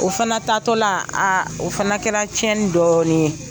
O fana taatɔla, aa o fana kɛra tiɲɛni dɔɔnin ye.